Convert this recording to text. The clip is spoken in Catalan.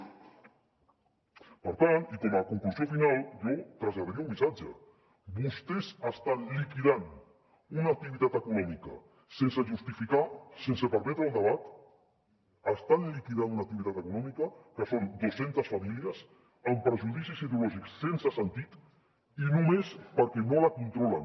per tant i com a conclusió final jo traslladaria un missatge vostès estan liquidant una activitat econòmica sense justificar sense permetre el debat estan liquidant una activitat econòmica que són dos centes famílies amb prejudicis ideològics sense sentit i només perquè no la controlen